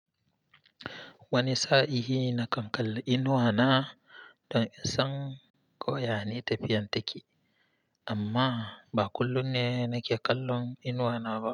Wani sa'i hi na kan kalla inuwa na don in san ko ya ne tafiyan taki, amma ba kullum ne nake kallon inuwa na ba.